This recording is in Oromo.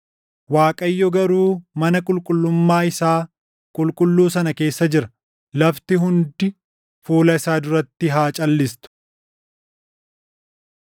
Waaqayyo garuu mana qulqullummaa isaa // qulqulluu sana keessa jira; lafti hundi fuula isaa duratti haa calʼistu.